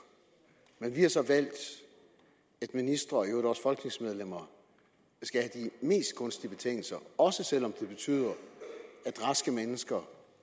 men vi har så valgt at ministre og i øvrigt også folketingsmedlemmer skal have de mest gunstige betingelser også selv om det betyder at raske mennesker